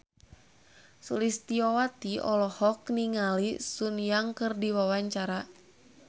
Sulistyowati olohok ningali Sun Yang keur diwawancara